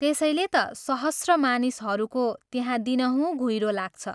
त्यसैले ता सहस्र मानिसहरूको त्यहाँ दिनहुँ घुइरो लाग्छ।